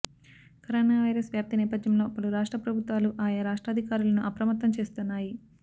corona virus వ్యాప్తి నేపథ్యంలో పలు రాష్ట్ర ప్రభుత్వాలు ఆయా రాష్ట్రాధికారులను అప్రమత్తం చేస్తున్నాయి